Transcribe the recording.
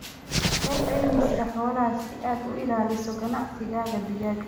Hel caymiska xoolaha si aad u ilaaliso ganacsigaaga digaaga.